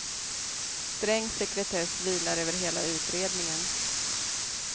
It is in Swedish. Sträng sekretess vilar över hela utredningen.